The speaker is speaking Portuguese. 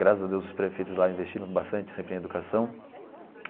Graças a Deus os prefeitos lá investiram bastante sempre em educação.